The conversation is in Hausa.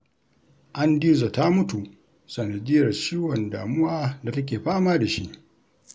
Andizo ta mutu sanadiyyar ciwon damuwa da take fama da shi